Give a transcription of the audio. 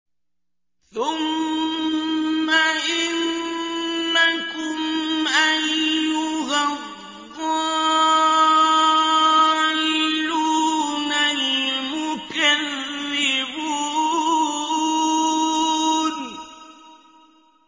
ثُمَّ إِنَّكُمْ أَيُّهَا الضَّالُّونَ الْمُكَذِّبُونَ